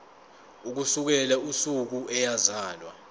ukusukela usuku eyazalwa